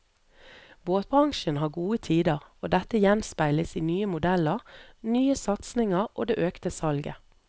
Båtbransjen har gode tider, og dette gjenspeiles i nye modeller, nye satsinger og det økte salget.